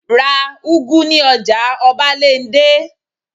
Ra úgú ní ọjà ọbándẹ́!